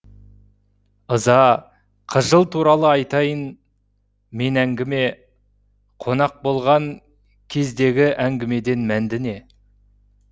ыза қыжыл туралы айтайын мен әңгіме қонақ болған кездегі әңгімеден мәнді не